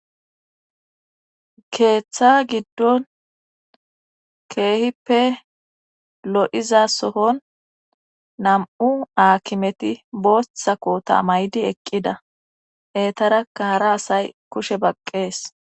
keeththa giddon keehippe lo7iza sohon nam7u aakimeti bootha kota maydi eqqida etaraka hara asay kushe baqqees